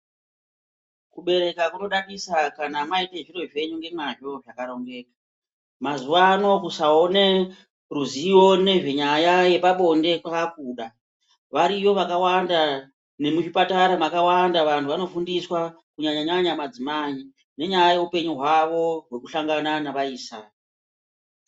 Kubereka kunodadisa kana maita zviro zvenyu nemazvo zvakarongeka mazuvano kusaona ruzivo nezvenyaya yepabonde kwakuda variyo vakawanda nemuzvipatara vanni vanofundisa kunyanya madzimai nekusangana navaisa.